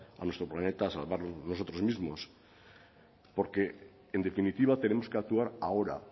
a nuestro planeta a salvarlo de nosotros mismos porque en definitiva tenemos que actuar ahora